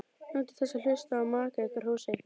Njótið þess að hlusta á maka ykkar hrósa ykkur.